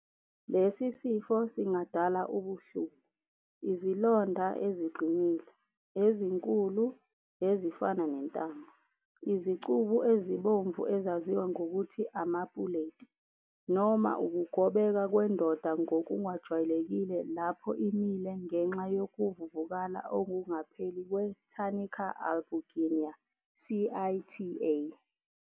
Lesi sifo singadala ubuhlungu, izilonda eziqinile, ezinkulu, ezifana nentambo, izicubu ezibomvu ezaziwa ngokuthi "amapuleti, noma ukugobeka kwendoda ngokungajwayelekile lapho imile ngenxa yokuvuvukala okungapheli kwe- tunica albuginea, CITA.